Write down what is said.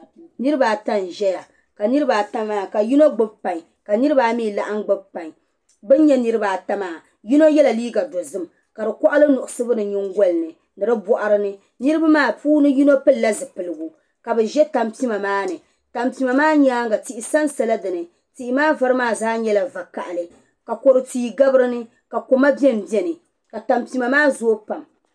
Niriba ata nzaya. ka niriba ata maa ka yinɔ gbubi kpaŋ ka niriba. ayi mi laɣim gbubi. kpaŋ. bi n. nyɛ niriba ata maa yinɔ. yela liiga dozim kadi koɣili nuɣsugu di nyin goli ni ni di bɔɣrini. niribi maa puuni. yinɔ pilla zupiligu kabi zɛ. tanpima maani tanpima maa nyaaŋ a. tihi san sala dini tihimaa vari maa zaa nyala va kahili ka kodu tii gabi. dini ka kɔma. benbeni.